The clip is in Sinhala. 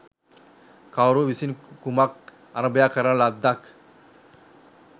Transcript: කවුරු විසින් කුමක් අරබයා කරන ලද්දක්